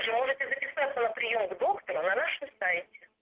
вы можете записаться на приём к доктору на нашем сайте